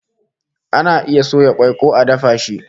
Ana iya soya kwai ko a dafa shi